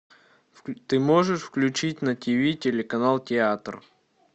ты можешь включить на ти ви телеканал театр